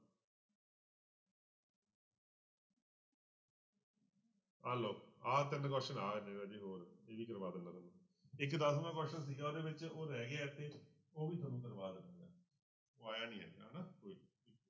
ਆ ਲਓ ਆਹ ਤਿੰਨ question ਆਹ ਰਾਜੇ ਹੋਰ, ਇਹ ਵੀ ਕਰਵਾ ਦਿਨਾ ਤੁਹਾਨੂੰ, ਇੱਕ ਦਸਵਾਂ question ਸੀਗਾ ਉਹਦੇ ਵਿੱਚ ਉਹ ਰਹਿ ਗਿਆ ਇੱਥੇ ਉਹ ਵੀ ਤੁਹਾਨੂੰ ਕਰਵਾ ਦਿਨਾ, ਉਹ ਆਇਆ ਨੀ